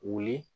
Wuli